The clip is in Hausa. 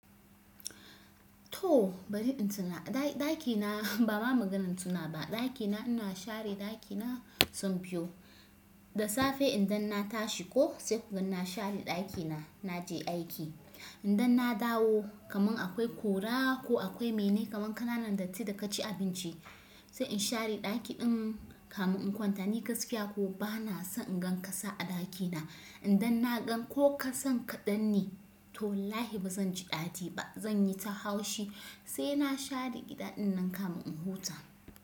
To bari in tuna ɗaki, ɗaki na ba ma maganan tuna ba. Ɗaki na ina share ɗaki na sau biyu. Da safe idan na tashi ko sai ku ga na share ɗaki na naje aiki. Idan na dawo, kaman akwai ƙura, ko akwai mene kaman ƙananan datti da ka ci abinci. Sai in share ɗaki ɗin kamin in kwanta. Ni gaskiya ko ba na son in gan ƙasa a ɗaki na. Idan na gan ko ƙasan kaɗan ne, to wallahi ba zan ji ɗadi ba. Zan yi ta haushi sai na share gida ɗin nan kamin in huta.